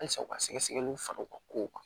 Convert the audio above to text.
Halisa u ka sɛgɛsɛgɛliw fara u ka kow kan